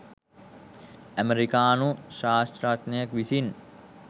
අමෙරිකානු ශ්‍රාස්ත්‍රඥයෙකු විසින්